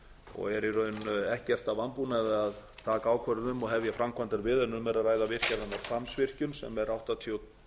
og er í raun ekkert að vanbúnaði að taka ákvörðun um og hefja framkvæmdir við en um er að ræða hvammsvirkjun sem er áttatíu og